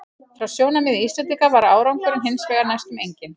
Frá sjónarmiði Íslendinga var árangurinn hins vegar næstum enginn.